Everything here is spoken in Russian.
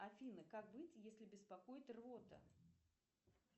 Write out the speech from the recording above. афина как быть если беспокоит рвота